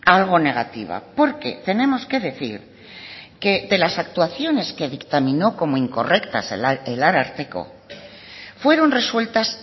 algo negativa porque tenemos que decir que de las actuaciones que dictaminó como incorrectas el ararteko fueron resueltas